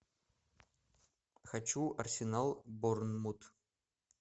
хочу арсенал борнмут